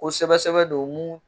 ko sɛbɛsɛbɛ don mun.